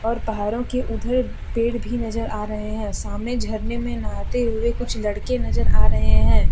और पहाड़ों के उधर पेड़ भी नजर आ रहे हैं सामने झरने में नहाते हुए कुछ लड़के नजर आ रहे हैं।